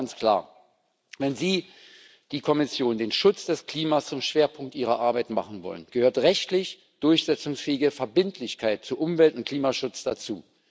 Deshalb ganz klar Wenn Sie, die Kommission, den Schutz des Klimas zum Schwerpunkt Ihrer Arbeit machen wollen, gehört rechtlich durchsetzungsfähige Verbindlichkeit zu Umwelt und Klimaschutz dazu.